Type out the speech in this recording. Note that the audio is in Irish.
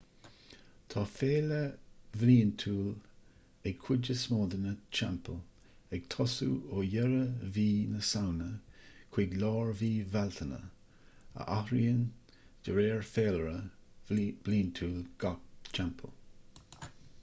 tá féile bhliantúil ag cuid is mó de na teampaill ag tosú ó dheireadh mhí na samhna chuig lár mhí bhealtaine a athraíonn de réir féilire bliantúil gach teampall